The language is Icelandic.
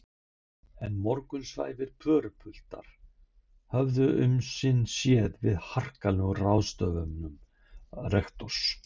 En morgunsvæfir pörupiltar höfðu um sinn séð við harkalegum ráðstöfunum rektors.